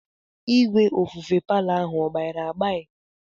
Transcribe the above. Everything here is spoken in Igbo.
Igwe ofufe palo ahụ ọ gbairi agbai?